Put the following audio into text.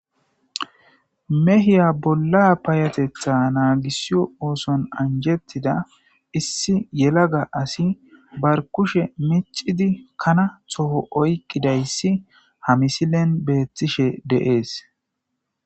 mehiya bolla payatetha naagisiyo ooson anjettida issi yelaga asi bar kushe micidi kana toho oykkidayssi ha misilen beettishe deees